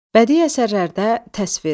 Bədii əsərlərdə təsvir.